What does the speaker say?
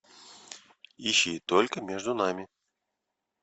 ищи только между нами